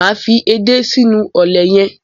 Máa fi edé sínú ọ̀lẹ̀ yẹn.